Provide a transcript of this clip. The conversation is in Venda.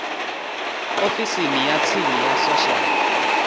ofisini ya tsini ya social